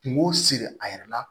Kungo siri a yɛrɛ la